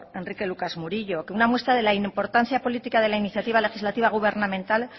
enrique lucas murillo que una muestra de la importancia política de la iniciativa legislativa gubernamental